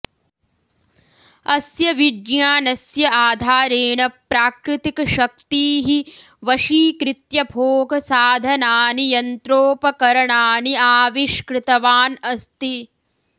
अस्य विज्ञानस्य आधारेण प्राकृतिकशक्तीः वशीकृत्य भोगसाधनानि यन्त्रोपकरणानि आविष्कृतवान् अस्ति